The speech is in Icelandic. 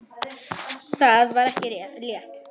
Það var ekki létt.